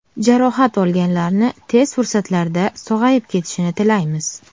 Jarohat olganlarni tez fursatlarda sog‘ayib ketishini tilaymiz.